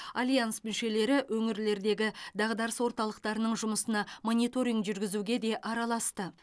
альянс мүшелері өңірлердегі дағдарыс орталықтарының жұмысына мониторинг жүргізуге де араласты